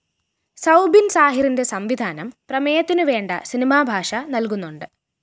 സൗബിന്‍ സാഹിറിന്റെ സംവിധാനം പ്രമേയത്തിനുവേണ്ട സിനിമാഭാഷ നല്‍കുന്നുണ്ട്